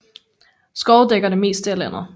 Skove dækker det meste af landet